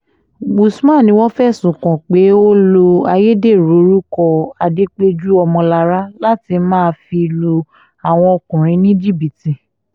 usman ni wọ́n fẹ̀sùn kàn pé ó lo ayédèrú orúkọ adẹ́péjú ọmọlára láti máa fi lu àwọn ọkùnrin ní jìbìtì